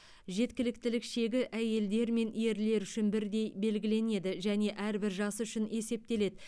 жеткіліктілік шегі әйелдер мен ерлер үшін бірдей белгіленеді және әрбір жас үшін есептеледі